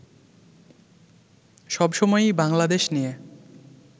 সবসময়ই বাংলাদেশ নিয়ে